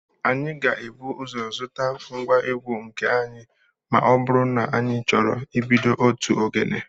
Anyị ga-ebu ụzọ zụta ngwa egwu nke anyị ma ọ bụrụ na anyị chọrọ ibido otu ogene